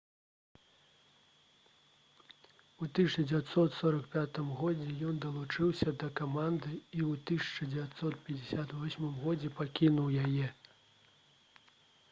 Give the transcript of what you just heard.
у 1945 годзе ён далучыўся да каманды і ў 1958 годзе пакінуў яе